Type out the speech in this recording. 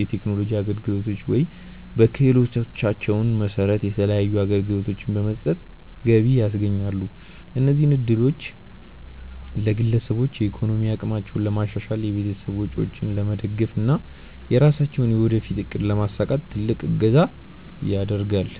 የቴክኖሎጂ አገልግሎቶች ወይም በክህሎታቸው መሰረት የተለያዩ አገልግሎቶችን በመስጠት ገቢ ያስገኛሉ። እነዚህ እድሎች ለግለሰቦች የኢኮኖሚ አቅማቸውን ለማሻሻል፣ የቤተሰብ ወጪዎችን ለመደገፍ እና የራሳቸውን የወደፊት እቅድ ለማሳካት ትልቅ እገዛ ያደርጋል።